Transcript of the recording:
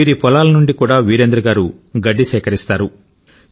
వీరి పొలాల నుండి కూడా వీరేంద్ర గారు గడ్డి సేకరిస్తారు